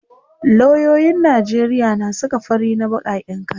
loyoyin Najeriya na saka fari na bakaken kaya